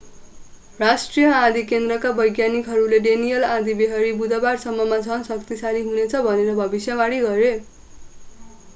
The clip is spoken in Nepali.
राष्ट्रिय आँधी केन्द्रका वैज्ञानिकहरूले डेनिएल आँधीबेहरी बुधबाररसम्ममा झन् शक्तिशाली हुनेछ भनेर भविष्यवाणी गरे